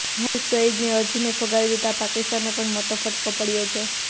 હાફીઝ સઇદની અરજીને ફગાવી દેતા પાકિસ્તાનને પણ મોટો ફટકો પડ્યો છે